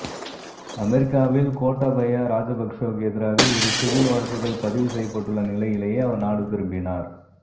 அமெரிக்காவில் கோட்டாபய ராஜபக்க்ஷவுக்கு எதிராக இரு சிவில் வழக்குகள் பதிவு செய்யப்பட்டுள்ள நிலையிலேயே அவர் நாடு திரும்பினார்